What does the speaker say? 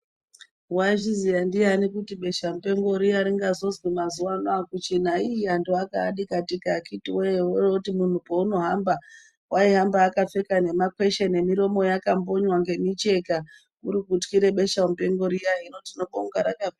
Waizviziya ndiani kuti besha mupengo riya ringazozwi mazuwa ano akuchina ii anhu akaa dikadika akiti woye wooroti munhu panaohamba waihamba akapfeka nemakweshe nemiromo yakambonywa ngemicheka ,hino tinobonga rakapera.